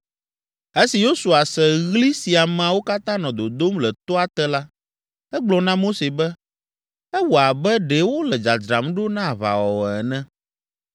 Esi Yosua se ɣli si ameawo katã nɔ dodom le toa te la, egblɔ na Mose be, “Ewɔ abe ɖe wole dzadzram ɖo na aʋawɔwɔ ene!”